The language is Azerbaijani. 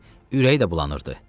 Ürəyi də bulanırdı.